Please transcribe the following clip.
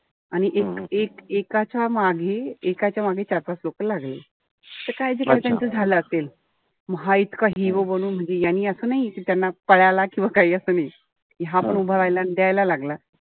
आणि एक एकाच्या मागे, एकाच्या मागे चार-पाच लोक लागले. त काहीतरी त्यांचं झालं असेल. म हा इतका hero बनून म्हणजे यांनी असं नाई कि त्यांना पळाला किंवा काई असं नाई. कि हा पण उभा राहिला अन द्यायला लागला.